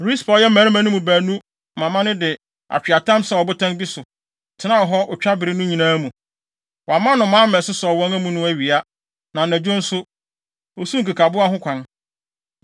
Rispa a ɔyɛ mmarima no mu baanu mama no de atweaatam sɛw ɔbotan bi so, tenaa hɔ otwabere no nyinaa mu. Wamma nnomaa ammɛsosɔw wɔn amu no awia, na anadwo nso, osiw nkekaboa ho kwan.